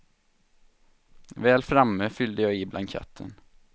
Väl framme fyllde jag i blanketten.